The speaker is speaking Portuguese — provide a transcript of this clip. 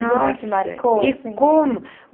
Nossa, e como!